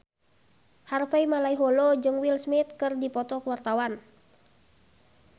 Harvey Malaiholo jeung Will Smith keur dipoto ku wartawan